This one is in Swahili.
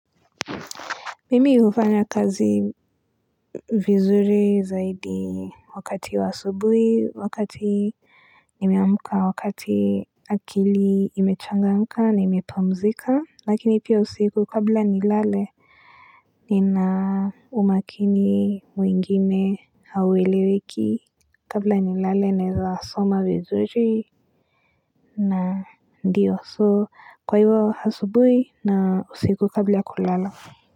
Mimi ufanya kazi vizuri zaidi wakati wa asubuhi, wakati nimeamka, wakati akili imechangamka nimepumzika, lakini pia usiku kabla nilale. Nina umakini mwingine haueleweki kabla nilale naweza soma vizuri na ndio so kwa hivi wa asubuhi na usiku kabla kulala.